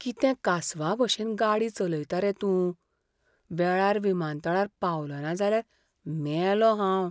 कितें कासवाभशेन गाडी चलयता रे तूं? वेळार विमानतळार पावलो ना जाल्यार मेलों हांव.